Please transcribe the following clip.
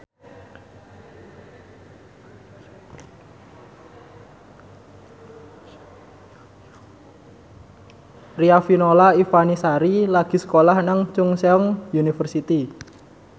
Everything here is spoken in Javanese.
Riafinola Ifani Sari lagi sekolah nang Chungceong University